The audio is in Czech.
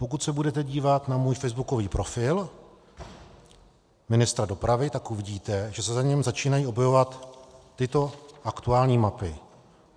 Pokud se budete dívat na můj facebookový profil ministra dopravy, tak uvidíte, že se na něm začínají objevovat tyto aktuální mapy.